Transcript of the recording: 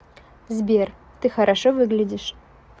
сбер ты хорошо выглядишь